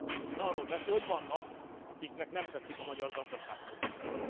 Ön arról beszél, hogy vannak, akiknek nem tetszik a magyar gazdaságpolitika.